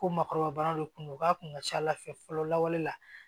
Ko maakɔrɔba de kun don u k'a kun ka ca ala fɛ fɔlɔ lawale la